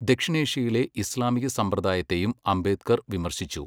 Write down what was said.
ദക്ഷിണേഷ്യയിലെ ഇസ്ലാമിക സമ്പ്രദായത്തെയും അംബേദ്കർ വിമർശിച്ചു.